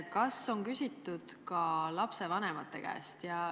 Kas seda on küsitud ka lapsevanemate käest?